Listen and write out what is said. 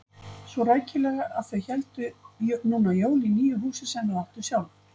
Svo rækilega að þau héldu núna jól í nýju húsi sem þau áttu sjálf.